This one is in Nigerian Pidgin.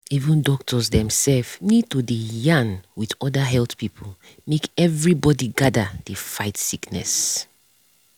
even doctors themself need to dey yarn with other health people make everybody gather dey fight sickness.